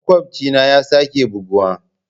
Makwabcina ya sake buguwa.